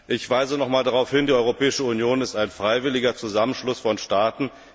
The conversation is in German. Ich weise nochmals darauf hin Die Europäische Union ist ein freiwilliger Zusammenschluss von Staaten.